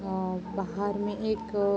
अ बाहर में एक --